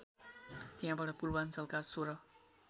त्यहाँबाट पूर्वाञ्चलका १६